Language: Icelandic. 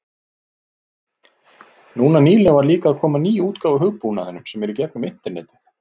Núna nýlega var líka að koma ný útgáfa af hugbúnaðinum sem er í gegnum internetið.